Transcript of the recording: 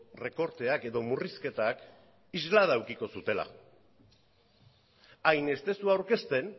errekorteak edo murrizketak islada edukiko zutela hain ez duzu aurkezten